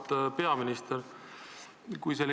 Auväärt peaminister!